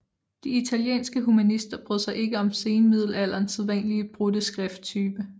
De italienske humanister brød sig ikke om senmiddelalderens sædvanlige brudte skrifttype